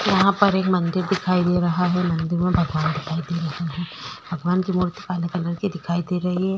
यहाँ पर एक मंदिर दिखाई दे रहा है। मंदिर में भगवान दिखाई दे रहे है। भगवान की मूर्ति काले कलर की दिखाई दे रही है।